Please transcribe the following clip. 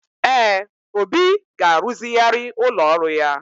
Ee, Obi ga-ruzigharị ụlọ ọrụ ya.